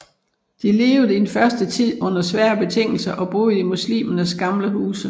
De levede i den første tid under svære betingelser og boede i muslimernes gamle huse